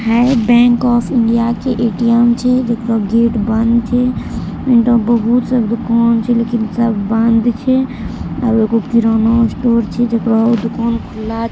Hey bank of India के ATM. छै जेकरो गेट बंद छै एनठो बहुत सब दुकान छै लेकिन सब बंद छै किराना स्टोर छै जकरो दुकान खुल्ला छै।